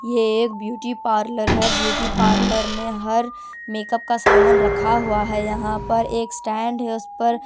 ये एक beauty parlour है ब्यूटी पार्लर में हर मेकअप का सामान रखा हुआ है यहां पर एक स्टैंड है उस पर--